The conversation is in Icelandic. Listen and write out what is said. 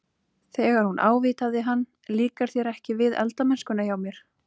Þegar hún ávítaði hann- Líkar þér ekki við eldamennskuna hjá mér?